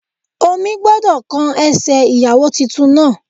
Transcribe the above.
Omi gbọ́dọ̀ kan ẹsẹ̀ ìyàwó titun náà